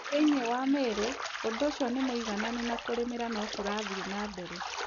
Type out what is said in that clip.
Thĩinĩ wa Meru, ũndũ ũcio nĩ mũigananu na kũrĩmĩra no kũrathiĩ na mbere.